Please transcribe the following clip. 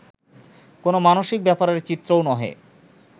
কোন মানুষিক ব্যাপারের চিত্রও নহে